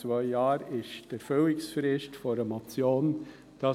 Die Erfüllungsfrist der Motion beträgt zwei Jahre.